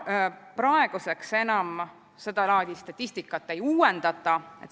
Praeguseks enam seda laadi statistikat ei uuendata.